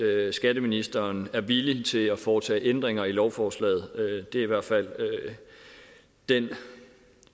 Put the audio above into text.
at skatteministeren er villig til at foretage ændringer i lovforslaget det er i hvert fald den